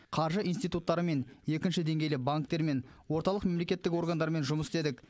қаржы институттарымен екінші деңгейлі банктермен орталық мемлекеттік органдармен жұмыс істедік